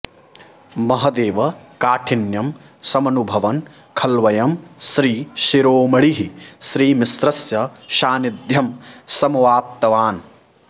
महदेव काठिन्यं समनुभवन् खल्वयं श्रीशिरोमणिः श्रीमिश्रस्य सान्निध्यं समवाप्तवान्